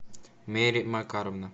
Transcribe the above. мери макаровна